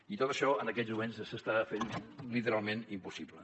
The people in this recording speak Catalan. i tot això en aquests moments es fa literalment impossible